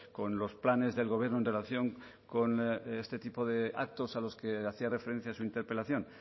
con los planes del gobierno en relación con este tipo de actos a los que hacía referencia en su interpelación